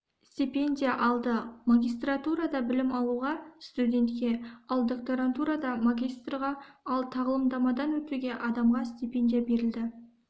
стипендия алды магистратурада білім алуға студентке ал докторантурада магистрға ал тағылымдамадан өтуге адамға стипендия берілді